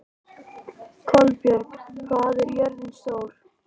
Kolbjörg, hvað er jörðin stór?